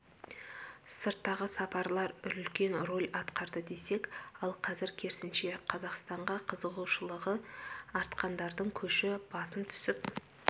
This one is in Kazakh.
сырттағы сапарлар үлкен рөл атқарды десек ал қазір керісінше қазақстанға қызығушылығы артқандардың көші басым түсіп